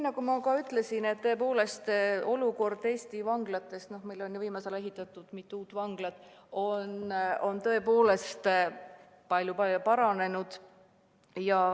Nagu ma ütlesin, tõepoolest, olukord Eesti vanglates – meil on ju viimasel ajal ehitatud mitu uut vanglat – on tõepoolest palju paranenud.